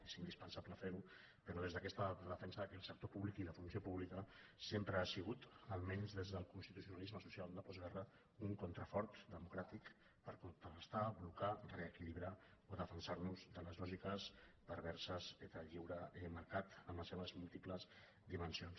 és indispensable fer·ho però des d’aquesta defensa que el sector públic i la funció pública sempre ha sigut almenys des del cons·titucionalisme social de postguerra un contrafort de·mocràtic per contrarestar blocar reequilibrar o defen·sar·nos de les lògiques perverses del lliure mercat en les seves múltiples dimensions